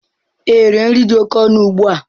Ee, nri nri dị oke ọnụ ugbu a.